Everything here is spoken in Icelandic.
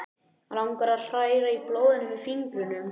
Langar að hræra í blóðinu með fingrunum.